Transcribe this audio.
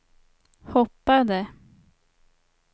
hoppade